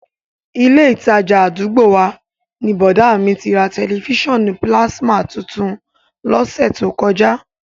Ilé ìtajà àdúgbò wa ni bọ̀dá à mi ti ra tẹ̀lifísàn pílásímà tuntun lọ́sẹ̀ tó kọjá